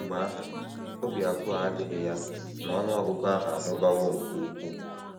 Kemgbe ahụ, obi abụọ adịghị ya na ọnụ ọgụgụ ahụ amụbawo nke ukwuu.